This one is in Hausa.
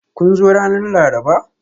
Kun zo ranar Laraba?